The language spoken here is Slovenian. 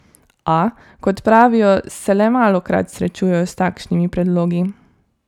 A, kot pravijo, se le malokrat srečujejo s takšnimi predlogi.